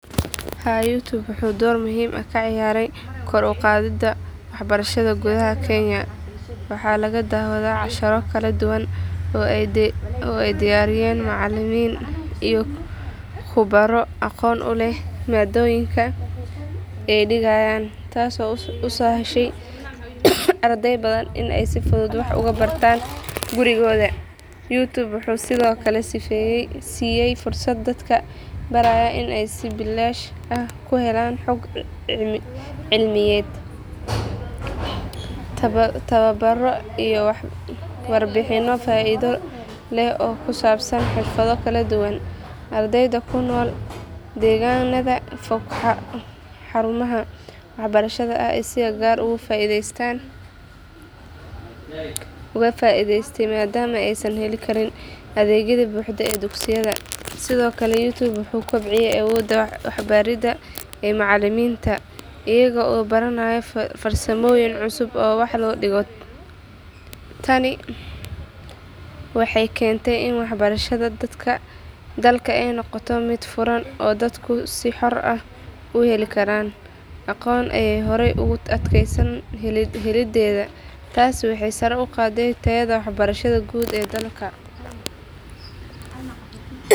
Haa youtube wuxuu dor muhiim ah ka ciyaray kor u qadhida wax barashaada gudaha kenya, waxaa laga dawaada casharo kara duwan oo ee diyariyen macalimin iyo kubaro aqon uleh madoyinka ee digayan tas oo uso heshe arkey badan in si fudud wax oga bartan gurigoda, tawa baro firfado kala duwan, ardeyda kunol deganmaha fog ee xarumaha si ee oga faidestan, tani waxee kente wax barashaada in ee aqon tasi waxee kor u qade wax barashaada dalka.